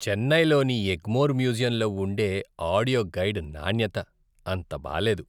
చెన్నైలోని ఎగ్మోర్ మ్యూజియంలో ఉండే ఆడియో గైడ్ నాణ్యత అంత బాలేదు.